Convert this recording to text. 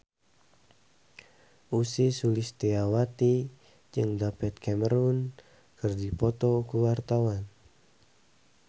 Ussy Sulistyawati jeung David Cameron keur dipoto ku wartawan